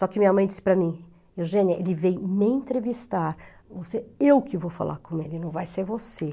Só que minha mãe disse para mim, Eugênia, ele veio me entrevistar, eu que vou falar com ele, não vai ser você.